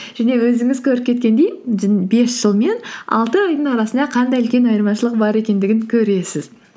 және өзіңіз көріп кеткендей бес жыл мен алты айдың арасында қандай үлкен айырмашылық бар екендігін көресіз